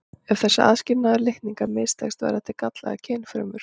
Ef þessi aðskilnaður litninga mistekst verða til gallaðar kynfrumur.